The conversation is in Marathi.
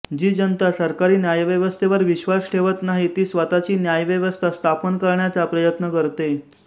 जी जनता सरकारी न्यायव्यवस्थेवर विश्र्वास ठेवत नाही ती स्वतःची न्यायव्यवस्था स्थापन करण्याचा प्रयत्न करते